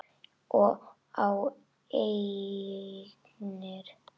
Og á eignir.